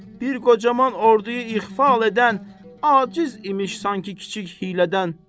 Bir qocaman ordunu ixal edən aciz imiş sanki kiçik hiylədən.